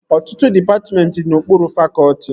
Ọtụtụ dịpatmentị dị n'okpuru fakọtị